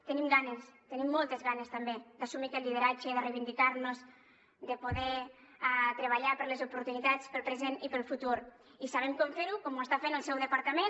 tenim ganes tenim moltes ganes també d’assumir aquest lideratge de reivindicar nos de poder treballar per les oportunitats pel present i pel futur i sabem com fer ho com ho està fent el seu departament